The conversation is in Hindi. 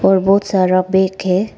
और बहुत सारा बेग है।